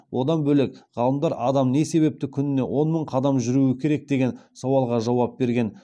одан бөлек ғалымдар адам не себепті күніне он мың қадам жүруі керек деген сауалға жауап берген